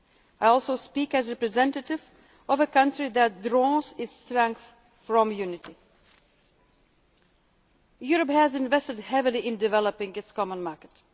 Europe. I also speak as the representative of a country that draws its strength from unity. Europe has invested heavily in developing its common